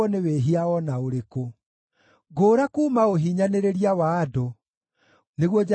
Ngũũra kuuma ũhiinyanĩrĩria wa andũ, nĩguo njathĩkagĩre mawatho maku.